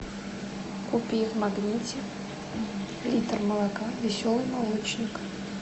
купи в магните литр молока веселый молочник